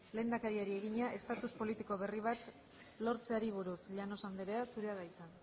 lehendakariari egina estatus politiko berri bat lortzeari buruz llanos andrea zurea da hitza